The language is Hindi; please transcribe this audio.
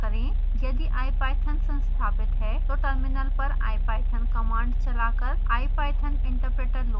यदि ipython संस्थापित है तो टर्मिनल पर ipython command चला कर ipython interpreter लोड होता है